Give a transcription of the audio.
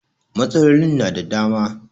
Matsalolin na da dama